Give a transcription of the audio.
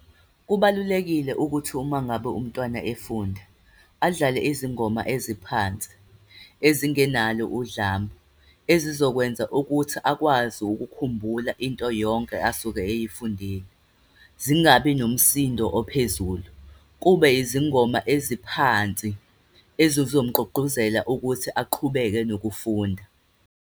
Kubalulekile ukuthi uma ngabe umntwana efunda, adlale izingoma eziphansi, ezingenalo udlame, ezizokwenza ukuthi akwazi ukukhumbula into yonke asuke eyifundile. Zingabi nomsindo ophezulu. Kube izingoma eziphansi, ezizomgqugquzela ukuthi aqhubeke nokufunda.